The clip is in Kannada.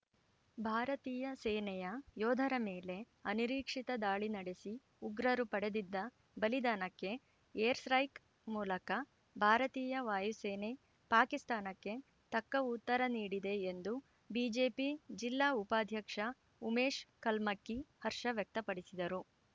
ಭಾರತೀಯ ಸೇನೆಯ ಯೋಧರ ಮೇಲೆ ಅನಿರೀಕ್ಷಿತ ದಾಳಿ ನಡೆಸಿ ಉಗ್ರರು ಪಡೆದಿದ್ದ ಬಲಿದಾನಕ್ಕೆ ಏರ್‌ ಸ್ಟ್ರೈಕ್ ಮೂಲಕ ಭಾರತೀಯ ವಾಯುಸೇನೆ ಪಾಕಿಸ್ತಾನಕ್ಕೆ ತಕ್ಕ ಉತ್ತರ ನೀಡಿದೆ ಎಂದು ಬಿಜೆಪಿ ಜಿಲ್ಲಾ ಉಪಾಧ್ಯಕ್ಷ ಉಮೇಶ್‌ ಕಲ್ಮಕ್ಕಿ ಹರ್ಷ ವ್ಯಕ್ತಪಡಿಸಿದರು